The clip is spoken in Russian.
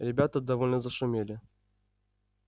ребята довольно зашумели